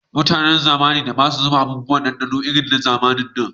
Mutanen zamanin da ba su saka abubuwan dandano da yawa irin na zamanin nan